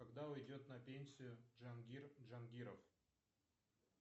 когда уйдет на пенсию джангир джангиров